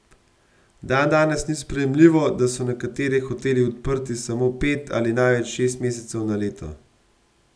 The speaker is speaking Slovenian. Dandanes ni sprejemljivo, da so nekateri hoteli odprti samo pet ali največ šest mesecev na leto.